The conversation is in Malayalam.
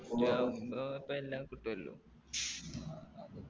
എനിക്കാവുമ്പോ പ്പോ എല്ലാം കിട്ടുഅല്ലോ